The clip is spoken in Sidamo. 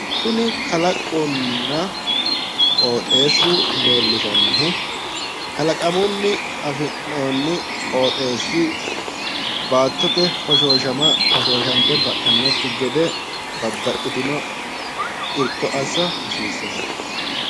Kuni kalaqonna qoxeessu leellishannohu kalaqamunni afi'noonni qoxeessi baattote hoshooshamanni hoshooshante ba'annokki gede babbaxitino irko assa hasiissanno.